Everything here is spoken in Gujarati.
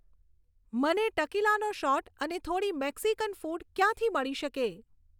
મને ટકીલાનો શોટ અને થોડી મેક્સિકન ફૂડ ક્યાંથી મળી શકે